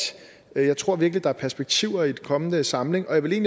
jeg tror virkelig der er perspektiver i en kommende samling og jeg vil